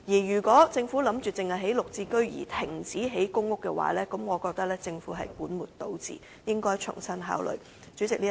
如果政府只打算興建"綠置居"單位而停建公屋，我認為這是本末倒置，應重新考慮。